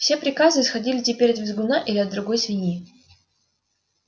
все приказы исходили теперь от визгуна или от другой свиньи